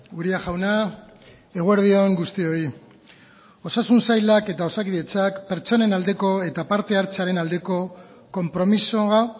uria jauna eguerdi on guztioi osasun sailak eta osakidetzak pertsonen aldeko eta parte hartzearen aldeko konpromisoa